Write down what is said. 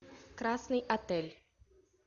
красный отель